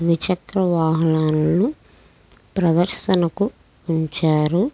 ద్విచక్ర వాహనాలు ప్రదర్శనకి ఉంచారు.